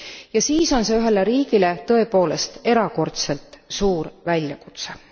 Ja siis on see ühele riigile tõepoolest erakordselt suur väljakutse.